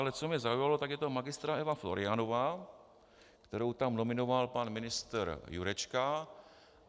Ale co mě zaujalo, tak je to magistra Eva Florianová, kterou tam nominoval pan ministr Jurečka.